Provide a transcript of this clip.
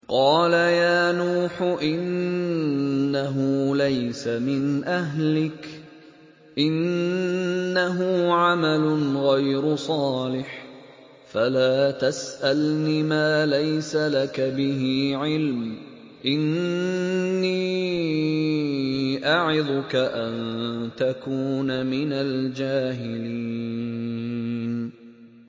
قَالَ يَا نُوحُ إِنَّهُ لَيْسَ مِنْ أَهْلِكَ ۖ إِنَّهُ عَمَلٌ غَيْرُ صَالِحٍ ۖ فَلَا تَسْأَلْنِ مَا لَيْسَ لَكَ بِهِ عِلْمٌ ۖ إِنِّي أَعِظُكَ أَن تَكُونَ مِنَ الْجَاهِلِينَ